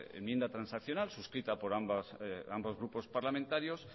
enmienda transaccional suscrita por ambos grupos parlamentarios